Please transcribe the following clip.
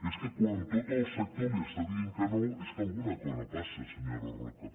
és que quan tot el sector li està dient que no és que alguna cosa passa senyora roca